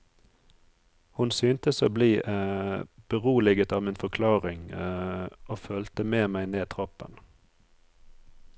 Hun syntes å bli beroliget av min forklaring og fulgte med meg ned trappen.